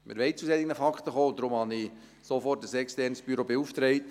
Wir wollen zu solchen Fakten kommen, und deshalb habe ich sofort ein externes Büro beauftragt.